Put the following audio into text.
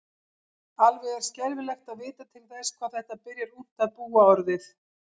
Alveg er skelfilegt að vita til þess hvað þetta byrjar ungt að búa orðið.